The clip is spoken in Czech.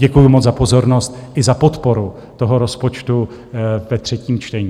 Děkuju moc za pozornost i za podporu toho rozpočtu ve třetím čtení.